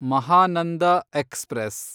Mahananda express